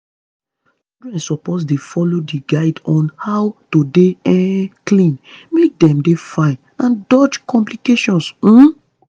children suppose dey follow di guide on how to dey um clean make dem dey fine and dodge complications um